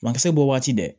Bankisɛ bɔ waati dɛ